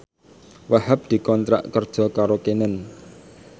Wahhab dikontrak kerja karo Canon